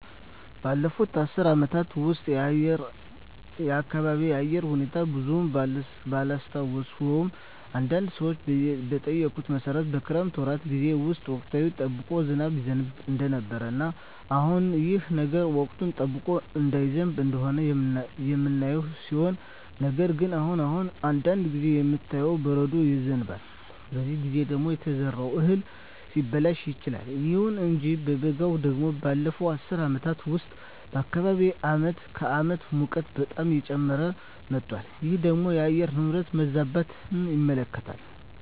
ባለፉት አስር አመታት ውስጥ የአካባቢየ የአየር ሁኔታ ብዙም ባላስታውሰውም አንዳንድ ሰዎችን በጠየኩት መሠረት የክረምት ወራት ጌዜ ውስጥ ወቅቱን ጠብቆ ዝናብ ይዘንብ እንደነበረ እና አሁንም ይህ ነገር ወቅቱን ጠብቆ እየዘነበ እንደሆነ የምናየው ሲሆን ነገር ግን አሁን አሁን አንዳንድ ጊዜ የሚታየው በረዶ ይዘንባል በዚህ ጊዜ ደግሞ የተዘራው እህል ሊበላሽ ይችላል። ይሁን እንጂ በበጋው ደግሞ ባለፋት አስር አመታት ውስጥ በአካባቢየ አመት ከአመት ሙቀቱ በጣም እየጨመረ መጧል ይህ ደግሞ የአየር ንብረት መዛባትን ያመለክታል